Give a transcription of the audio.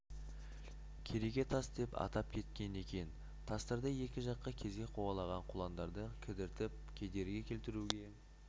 кереге тас деп атап кеткен екен тастарды екі жаққа кезек қуалаған құландарды кідіртіп кедергі келтіруге